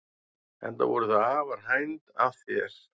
Enda voru þau afar hænd að þér.